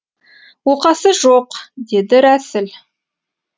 оқасы жоқ деді рәсіл